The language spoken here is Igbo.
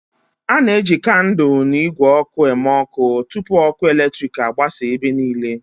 A na-eji kandụl na igwe oku eme ọkụ tupu ọkụ eletrik agbasa ebe niile.